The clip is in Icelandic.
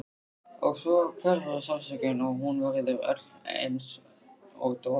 Og svo hverfur sársaukinn og hún verður öll einsog dofin.